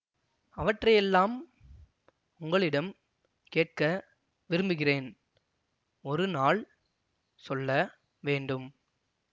அவற்றையெல்லாம் உங்களிடம் கேட்க விரும்புகிறேன் ஒரு நாள் சொல்ல வேண்டும்